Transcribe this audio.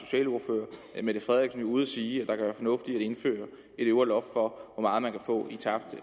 at mette frederiksen ude at sige at indføre et øvre loft for hvor meget man kan få i tabt